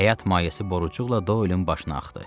Həyat mayesi borucuqla Doelin başına axdı.